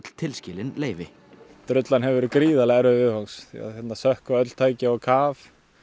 tilskilin leyfi drullan hefur verið gríðarlega erfið viðfangs því hérna sökkva öll tæki á kaf